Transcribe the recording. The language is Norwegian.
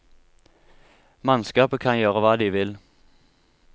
Mannskapet kan gjøre hva de vil.